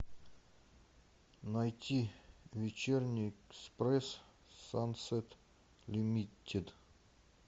найти вечерний экспресс сансет лимитед